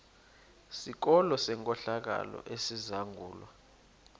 sikolo senkohlakalo esizangulwa